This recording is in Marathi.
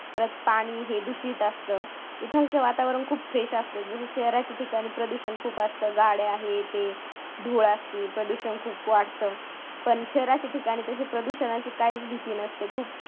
परत पाणी हे दूषित दोस्त असतं इकडच वातावरण खूप fresh असतं जसं शहराच्या ठिकाणी प्रदूषण खूप असतं गाड्या हे ते धूळ असते प्रदूषण खूप वाढतं. पण शहराच्या ठिकाणी तशी प्रदूषणा ची काहीच भीती नसते. खूप